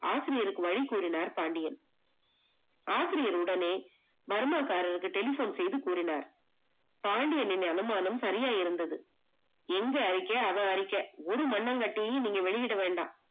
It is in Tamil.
ஆசிரியர்க்கு வழி கூறினார் பாண்டியன். ஆசிரியர் உடனே பர்மா காரருக்கு telephone செய்து கூறினார், பாண்டியன்னின் அனுமானம் சரியா இருந்தது. எங்க அறிக்க அவ அறிக்க ஒரு மன்னாங்கட்டியும் வெளியிட வேண்டாம்